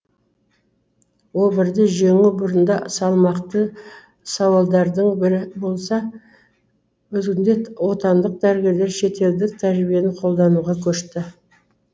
обырды жеңу бұрында салмақты сауалдардың бірі болса бүгінде отандық дәрігерлер шетелдік тәжірибені қолдануға көшті